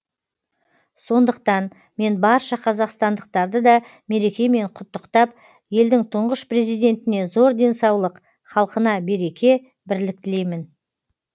сондықтан мен барша қазақстандықтарды да мерекемен құттықтап елдің тұңғыш президентіне зор денсаулық халқына береке бірлік тілеймін